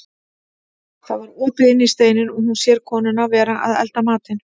Það var opið inn í steininn og hún sér konuna vera að elda matinn.